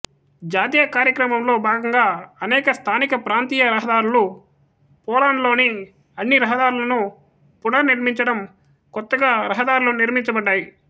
జాతీయ కార్యక్రమంలో భాగంగా అనేక స్థానిక ప్రాంతీయ రహదారులు పోలాండ్లోని అన్ని రహదారులను పునర్నిర్మించడం కొత్తగా రహదారులు నిర్మించబడ్డాయి